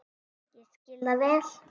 Ég skil það vel.